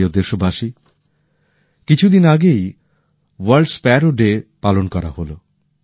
আমার প্রিয় দেশবাসী কিছু দিন আগেই ওয়ার্ল্ড স্প্যারো ডে পালন করা হোল